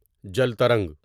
جل ترنگ